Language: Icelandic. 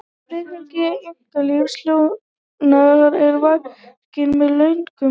friðhelgi einkalífs hjóna er varin með lögum